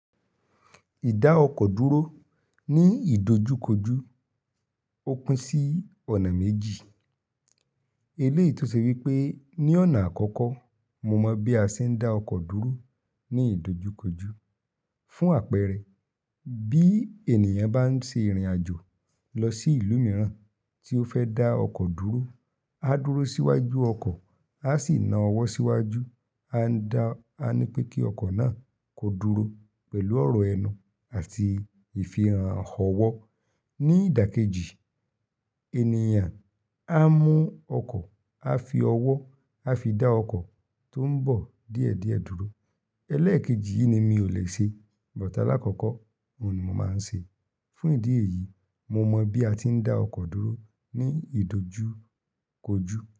Ìdá ọkọ̀ dúró ní ìdojúkojú, ó pín sí ọ̀nà méjì. Elé tò ṣe wípé ní ọ̀nà àkọ́kọ́, mo mọ bí a ṣe ń dá ọkọ̀ dúró ní ìdojúkojú. Fún àpẹẹrẹ, bí ènìyàn bá ń ṣe ìrìnàjò lọ sí ìlú mìíràn tí ó fẹ́ dá ọkọ̀ dúró, á dúró síwájú ọkọ̀, á sì na ọwọ́ síwájú, á ní pé kí ọkọ̀ náà kó dúró pẹ̀lú ọ̀rọ̀ ẹnu àti ìfihàn ọwọ́. Ní ìdà kejì, ènìyàn á mú ọkọ̀, á fi ọwọ́, á fi dá ọkọ̀ tó ń bọ̀ díẹ̀díẹ̀ dúró. Eléèkejì yìí ni mi ò le ṣe, bọ̀ tà lákọ̀kọ́, òun ni mo máa ń ṣe. Fún ìdí èyí, mo mọ bí a ti ń dá ọkọ̀ dúró ní ìdojúkojú.